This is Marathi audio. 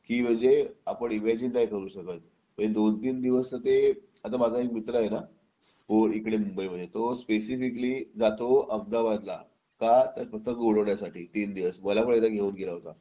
की म्हणजे आपण इमॅजिन नाही करू शकत म्हणजे दोन-तीन दिवस तर ते आता एक माझा मित्र आहे ना जो इकडे मुंबईमध्ये तो स्पेसिफिकली जातो अहमदाबादला का तर पतंग उडवण्यासाठी तीन दिवस मला पण एकदा घेऊन गेला होता